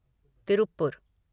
Tiruppur